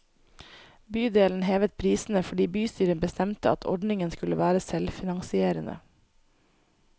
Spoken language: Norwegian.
Bydelen hevet prisene fordi bystyret bestemte at ordningen skulle være selvfinansierende.